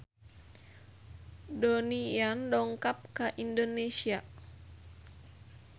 Donnie Yan dongkap ka Indonesia